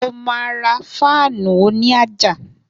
Mo ma ra fáànù òní àjà